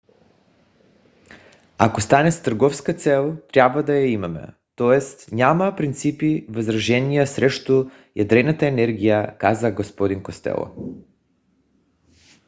"ако стане с търговска цел трябва да я имаме. т.е. няма принципни възражения срещу ядрената енергия каза г-н костело